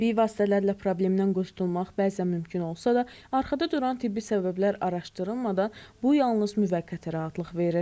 Təbii vasitələrlə problemdən qurtulmaq bəzən mümkün olsa da, arxada duran tibbi səbəblər araşdırılmadan bu yalnız müvəqqəti rahatlıq verir.